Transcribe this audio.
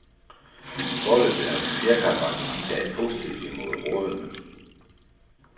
Foreløbig har fjerkræbranchen taget positivt imod rådene.